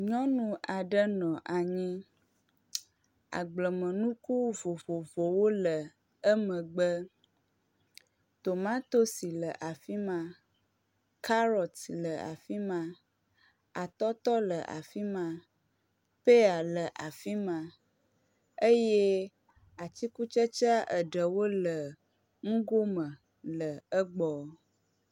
Nyɔnu aɖe nɔ anyi. Agblemenuku vovovowo le emegbe. Tomatosi le afi ma, kaɖɔt le afi ma, atɔtɔ le afi ma, peya le afi ma, eye atikutsetsea eɖewo le nugo me le egbɔ.